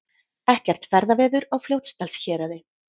Ekkert ferðaveður á Fljótsdalshéraði